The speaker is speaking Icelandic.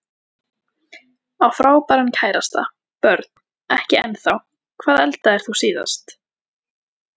Á frábæran kærasta Börn: Ekki ennþá Hvað eldaðir þú síðast?